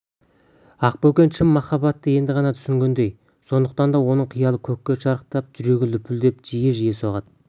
ақбөкен шын махаббатты енді ғана түсінгендей сондықтан да оның қиялы көкке шарықтап жүрегі лүпілдеп жиі-жиі соғады